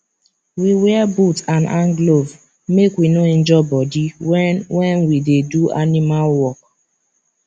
we wear boot and hand glove make we no injure body when when we dey do animal work